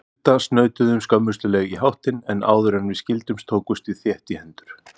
Hulda snautuðum skömmustuleg í háttinn, en áðuren við skildum tókumst við þétt í hendur.